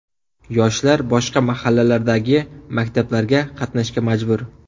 Yoshlar boshqa mahallalardagi maktablarga qatnashga majbur.